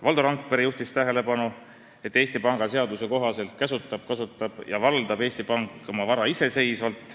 Valdo Randpere juhtis tähelepanu, et Eesti Panga seaduse kohaselt käsutab, kasutab ja valdab Eesti Pank oma vara iseseisvalt.